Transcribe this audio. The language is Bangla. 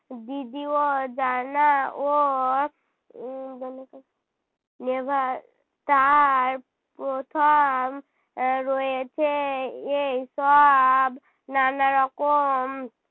জানা ও নেভার তার প্রথম এর রয়েছে এই সব নানারকম